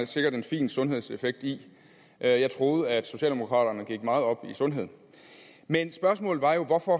sikkert en fin sundhedseffekt i jeg troede at socialdemokraterne gik meget op i sundhed men spørgsmålet var jo hvorfor